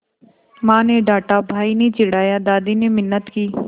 माँ ने डाँटा भाई ने चिढ़ाया दादी ने मिन्नत की